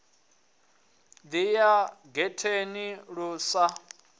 ḓi ya getheni lu sa